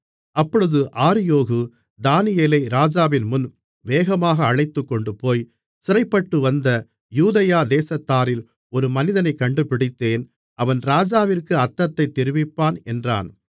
அப்பொழுது ஆரியோகு தானியேலை ராஜாவின்முன் வேகமாக அழைத்துக்கொண்டுபோய் சிறைப்பட்டுவந்த யூதேயா தேசத்தாரில் ஒரு மனிதனைக் கண்டுபிடித்தேன் அவன் ராஜாவிற்கு அர்த்தத்தைத் தெரிவிப்பான் என்றான்